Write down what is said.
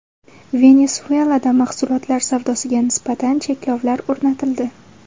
Venesuelada mahsulotlar savdosiga nisbatan cheklovlar o‘rnatildi.